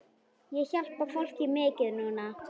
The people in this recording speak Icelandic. Ég hjálpa fólki mikið núna.